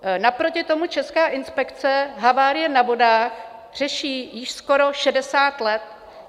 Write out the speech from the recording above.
Naproti tomu Česká inspekce havárie na vodách řeší již skoro 60 let.